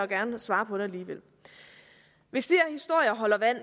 gerne svare på det alligevel hvis de